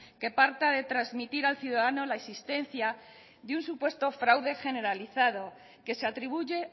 que parta de transmitir al ciudadano la existencia de un supuesto fraude generalizado que se atribuye